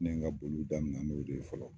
Ne ye n ka boliw daminɛ n'o de ye fɔlɔ